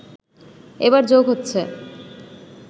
এবার যোগ হচ্ছে